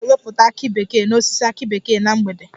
Anyị ga-ewepụta akị bekee n'osisi akị bekee na mgbede